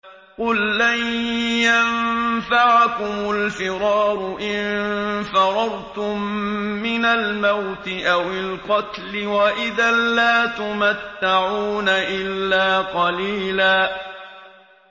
قُل لَّن يَنفَعَكُمُ الْفِرَارُ إِن فَرَرْتُم مِّنَ الْمَوْتِ أَوِ الْقَتْلِ وَإِذًا لَّا تُمَتَّعُونَ إِلَّا قَلِيلًا